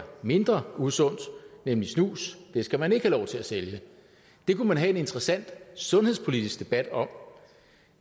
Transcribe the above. mindre usundt nemlig snus skal man ikke have lov til at sælge det kunne man have en interessant sundhedspolitisk debat om